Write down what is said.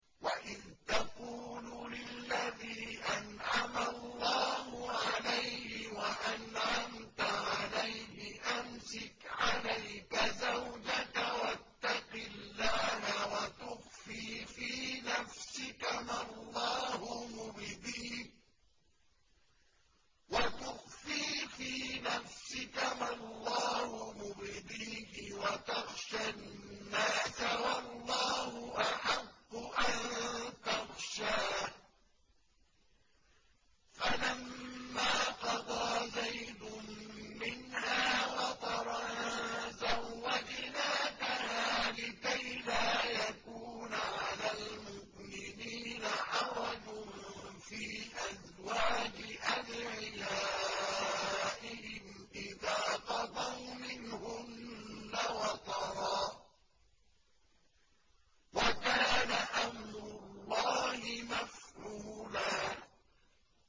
وَإِذْ تَقُولُ لِلَّذِي أَنْعَمَ اللَّهُ عَلَيْهِ وَأَنْعَمْتَ عَلَيْهِ أَمْسِكْ عَلَيْكَ زَوْجَكَ وَاتَّقِ اللَّهَ وَتُخْفِي فِي نَفْسِكَ مَا اللَّهُ مُبْدِيهِ وَتَخْشَى النَّاسَ وَاللَّهُ أَحَقُّ أَن تَخْشَاهُ ۖ فَلَمَّا قَضَىٰ زَيْدٌ مِّنْهَا وَطَرًا زَوَّجْنَاكَهَا لِكَيْ لَا يَكُونَ عَلَى الْمُؤْمِنِينَ حَرَجٌ فِي أَزْوَاجِ أَدْعِيَائِهِمْ إِذَا قَضَوْا مِنْهُنَّ وَطَرًا ۚ وَكَانَ أَمْرُ اللَّهِ مَفْعُولًا